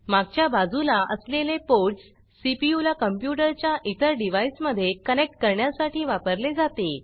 मागच्या बाजूला असलेले पोर्ट्स सीपीयू ला कंप्यूटर च्या इतर डिवाइस मध्ये कनेक्ट करण्यासाठी वापरले जाते